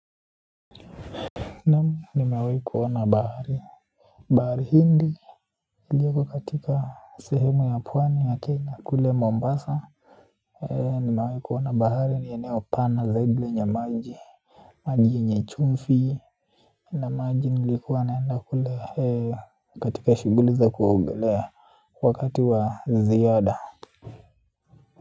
Naam nimewahi kuona bahari. Bahari hindi iliyoko katika sehemu ya pwani ya Kenya kule Mombasa. Nimewahi kuona bahari ni eneo pana zaidi lenye maji. Maji yenye chumvi na maji nilikuwa naenda kule katika shuguli za kuogelea wakati wa ziada.